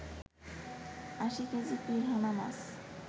৮০ kg piranha much